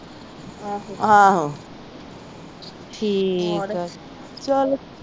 ਠੀਕ ਆ